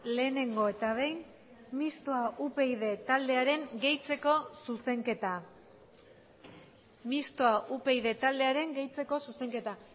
lehenengo eta behin mistoa upyd taldearen gehitzeko zuzenketa mistoa upyd taldearen gehitzeko zuzenketa